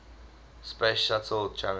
space shuttle challenger